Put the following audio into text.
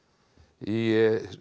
í